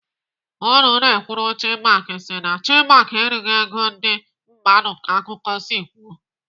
Ọnụ na-ekwuru Chinmark si na Chinmark erighị ego ndị mmadụ ka akụkọ si kwuo.